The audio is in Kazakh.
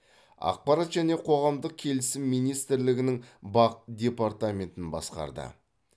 ақпарат және қоғамдық келісім министрлігінің бақ департаментін басқарды